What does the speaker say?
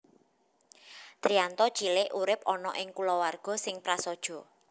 Triyanto cilik urip ana ing kulawarga sing prasaja